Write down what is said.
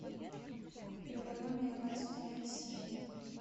первородные двадцать вторая серия